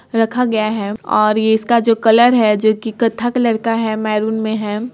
रखा गया है और ये इसका जो कलर है जो की कत्था कलर का है मैरून में है।